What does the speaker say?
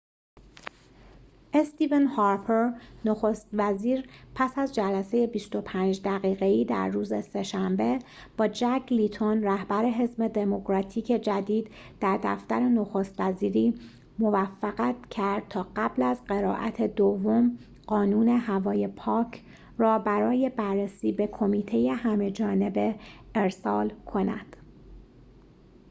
استیون هارپر نخست وزیر پس از جلسه ۲۵ دقیقه‌ای در روز سه‌شنبه با جک لیتون رهبر حزب دموکراتیک جدید در دفتر نخست وزیری موفقت کرد تا قبل از قرائت دوم قانون هوای پاک را برای بررسی به کمیته همه‌جانبه ارسال کند